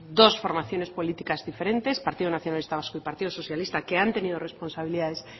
dos formaciones políticas diferentes partido nacionalista vasco y partido socialista que han tenido responsabilidades